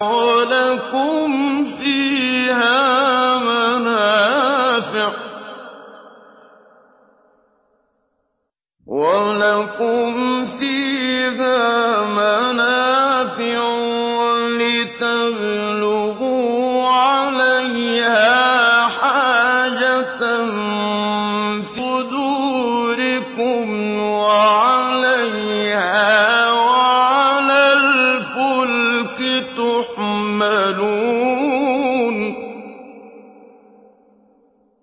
وَلَكُمْ فِيهَا مَنَافِعُ وَلِتَبْلُغُوا عَلَيْهَا حَاجَةً فِي صُدُورِكُمْ وَعَلَيْهَا وَعَلَى الْفُلْكِ تُحْمَلُونَ